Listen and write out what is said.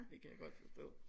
Det kan jeg godt forstå